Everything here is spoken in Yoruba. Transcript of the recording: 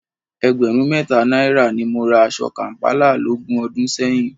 Ẹgbẹ̀rún mẹ́ta náírà ni mo ra aṣọ kàm̀pálà lógún ọdún sẹ́yìn